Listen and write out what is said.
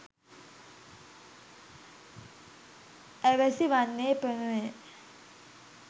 ඇවැසි වන්නේ එපමණය.